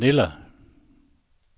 Manila